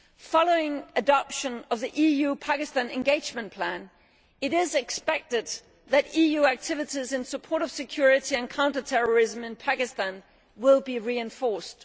Following the adoption of the EU Pakistan Engagement Plan, it is expected that EU activities in support of security and counter terrorism in Pakistan will be reinforced.